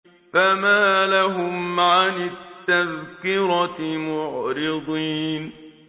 فَمَا لَهُمْ عَنِ التَّذْكِرَةِ مُعْرِضِينَ